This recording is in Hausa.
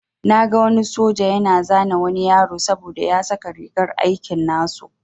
Na gan wani soja yana zane wani yaro saboda ya saka rigar aiki nasu.